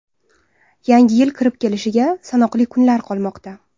Yangi yil kirib kelishiga sanoqli kunlar qolmoqda.